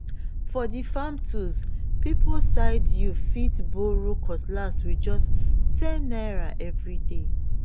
for the farm tools people side you fit borrow cutlass with just ten naira every day